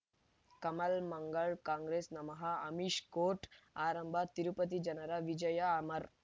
ಕಮಲ್ ಮಂಗಳ್ ಕಾಂಗ್ರೆಸ್ ನಮಃ ಅಮಿಷ್ ಕೋರ್ಟ್ ಆರಂಭ ತಿರುಪತಿ ಜನರ ವಿಜಯ ಅಮರ್